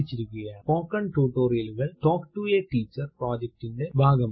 spoken ടുട്ടോറിയലുകൾ talk to a teacher പ്രൊജക്റ്റിറ്റിന്റെ ഭാഗമാണ്